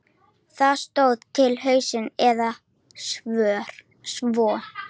Það stóð til haustsins eða svo.